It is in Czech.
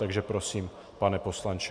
Takže prosím, pane poslanče.